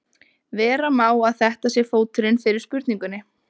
Vera má að þetta sé fóturinn fyrir spurningunni.